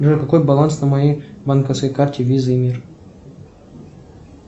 джой какой баланс на моей банковской карте виза и мир